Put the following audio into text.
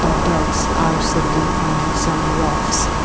ducks are sitting on some rocks.